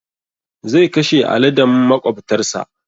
Zai kashe aladen maƙwabtar sa.